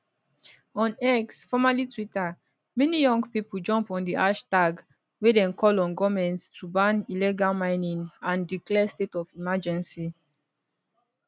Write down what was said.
on x formerly twitter many young pipo jump on di hashtag wey dem call on goment to ban illegal mining and declare state of emergency